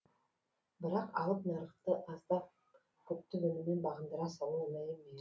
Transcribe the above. бірақ алып нарықты азды көпті өніммен бағындыра салу оңай емес